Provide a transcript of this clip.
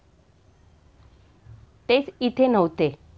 तेच इथे नव्हते.